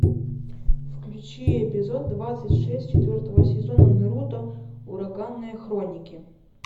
включи эпизод двадцать шесть четвертого сезона наруто ураганные хроники